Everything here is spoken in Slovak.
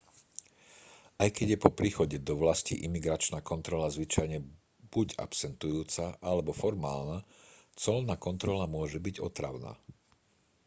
aj keď je po príchode do vlasti imigračná kontrola zvyčajne buď absentujúca alebo formálna colná kontrola môže byť otravná